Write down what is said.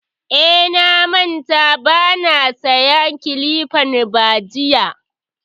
Eh, na manta ban saya kilifan ba jiya